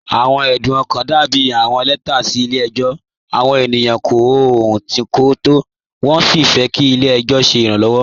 Awọn ẹdún ọkan dàbí awọn lẹtà sí ilẹ̀-ẹjọ. Awọn ènìyàn kọ̀ ọ̀hùn tí̀ kò tó, wọn sí fẹ́ kí ilẹ̀-ẹjọ ṣẹ̀ iránlọ́wọ́.